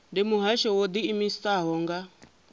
ndi muhasho wo ḓiimisaho nga